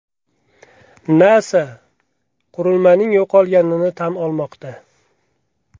NASA qurilmaning yo‘qolganini tan olmoqda.